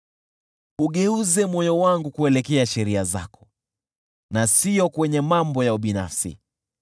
Ugeuze moyo wangu kuelekea sheria zako, na siyo kwenye mambo ya ubinafsi.